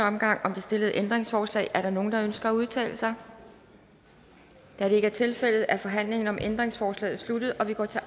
omgang om det stillede ændringsforslag er der nogen der ønsker at udtale sig da det ikke er tilfældet er forhandlingen om ændringsforslaget sluttet og vi går til